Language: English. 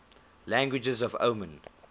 languages of oman